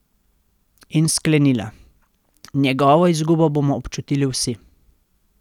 In sklenila: 'Njegovo izgubo bomo občutili vsi.